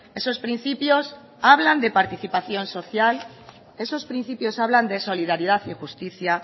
esos principios hablan de participación social esos principios hablan de solidaridad y justicia